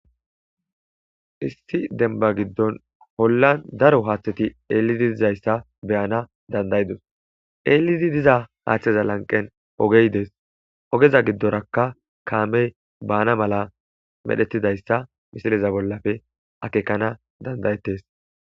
Issi denba giddon hollan daro haaththeti eelidi dizayssa beyana dandayidos eelidi diza haaththeza lanqen ogey dees ogeza giddorakka kaamey baana mala medhetidayssa misileza bollafe akekana dandayettes.